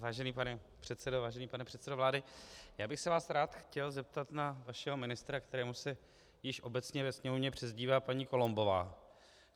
Vážený pane předsedo, vážený pane předsedo vlády, já bych se vás rád chtěl zeptat na vašeho ministra, kterému se již obecně ve Sněmovně přezdívá paní Columbová.